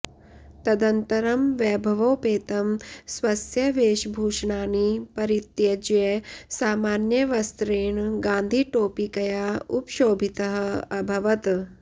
तदनन्तरं वैभवोपेतं स्वस्य वेशभूषणानि परित्यज्य सामान्यवस्त्रेण गान्धिटोपिकया उपशोभितः अभवत्